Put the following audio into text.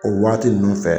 O waati ninnu fɛ